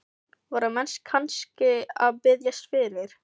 Voru menn kannski að biðjast fyrir?